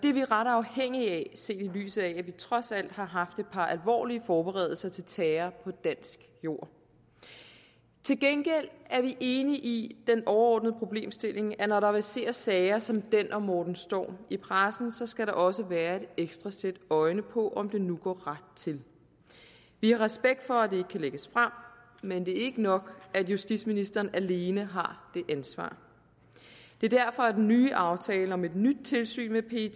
er vi ret afhængige af set i lyset af at vi trods alt har haft et par alvorlige forberedelser til terror på dansk jord til gengæld er vi enige i den overordnede problemstilling nemlig at når der verserer sager som den om morten storm i pressen skal der også være et ekstra sæt øjne på om det nu går ret til vi har respekt for at det ikke kan lægges frem men det er ikke nok at justitsministeren alene har det ansvar det er derfor at den nye aftale om et nyt tilsyn med pet